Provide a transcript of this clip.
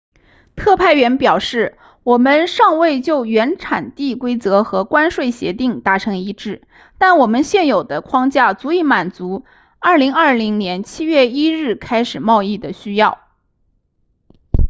特派员表示我们尚未就原产地规则和关税协定达成一致但我们现有的框架足以满足2020年7月1日开始贸易的需要